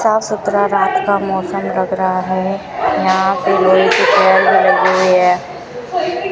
साफ सुथरा रात का मौसम लग रहा है यहां पे हुई है।